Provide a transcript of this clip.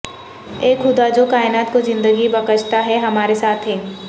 اے خدا جو کائنات کو زندگی بخشتا ہے ہمارے ساتھ ہے